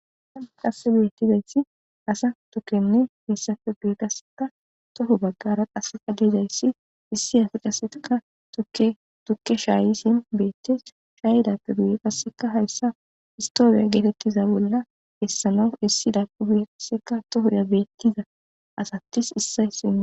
Asan qasse beettizayssi asa tukkenne messafe bu qasseka toho baggara qasseka leezayssi issi has qaseka tukke shaayisin beettes shaayidappe buye qasseka hayssa istoobiya geetettiza bolla hessana issi dapubue qasseka tohurya beettiza asattis issay sine.